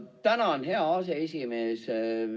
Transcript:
Tänan, hea aseesimees!